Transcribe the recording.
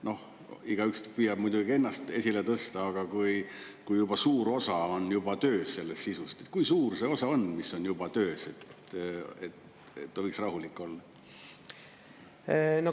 Noh, igaüks püüab muidugi ennast esile tõsta, aga kui juba suur osa on juba töös selles sisust: kui suur see osa on, mis on juba töös, et ta võiks rahulik olla?